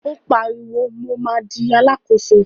Ó pariwo, mo ma di Alákóso!